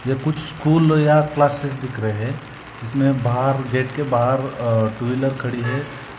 कुछ स्कूल या क्लासेस दिख रहे हैं जिस में बाहर गेट के बाहर अह टू व्हीलर खड़ी है।